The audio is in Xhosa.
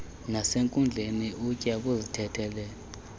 nasenkundleni ukya kuzithethelela